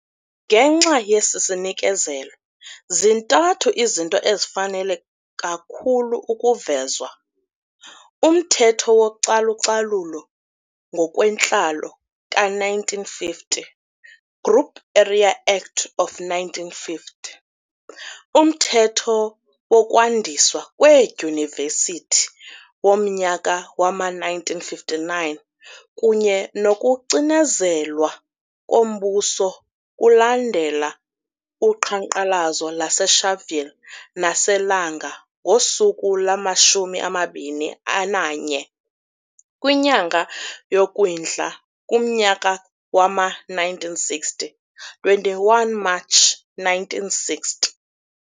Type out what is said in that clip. Ngenxa yesi sinikezelo, zintathu izinto ezifanele kakhulu ukuvezwa, umthetho wocalucalulo ngokwentlalo ka-1950, Group Area Act of 1950, umthetho wokwandiswa kweedyunivesithi womnyaka wama-1959 kunye nokucinezelwa kombuso kulandela uqhankqalazo lase Sharpville nase Langa ngosuku lwamashumi amabini ananye, kwinyanga yoKwindla kumnyaka wama-1960, 21 March 1960.